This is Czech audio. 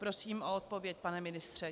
Prosím o odpověď, pane ministře.